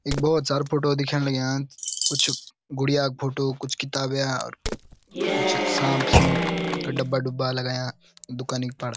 इक भोत सारु फोटो दिखेंण लग्यां कुछ गुड़िया क फोटू कुछ किताबेंया कुछ सांप सूप का डब्बा डुब्बा लगायाँ दुकानी पर।